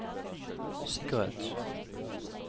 sikkerhet